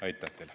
Aitäh teile!